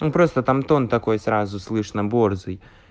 он просто там тон такой сразу слышно борзый